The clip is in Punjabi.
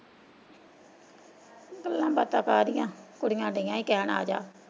ਗੱਲਾਂ ਬਾਤਾ ਕਾਹਦੀਆਂ ਕੁੜੀਆਂ ਡਈਆਂ ਸੀ ਕਹਿਣ ਆਜਾ।